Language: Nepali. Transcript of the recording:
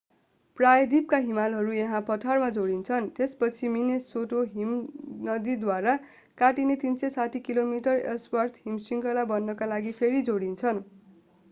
प्रायद्वीपका हिमालहरू यहाँ पठारमा जोडिन्छन् त्यसपछि मिनेसोटा हिमनदीद्वारा काटिने 360 किमी एल्सवर्थ हिमशृङ्खला बन्नका लागि फेरि जोडिन्छन्